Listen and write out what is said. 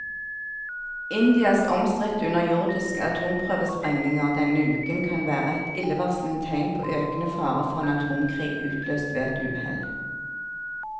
Indias omstridte underjordiske atomprøvesprengninger denne uken kan være et illevarslende tegn på økende fare for en atomkrig utløst ved et uhell.